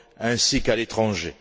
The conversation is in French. ainsi qu'à l'étranger.